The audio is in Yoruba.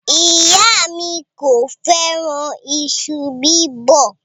Iya mi ko feran iṣu bibo